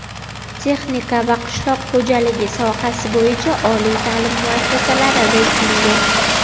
Texnika va qishloq xo‘jaligi sohasi bo‘yicha oliy taʼlim muassasalari reytingi.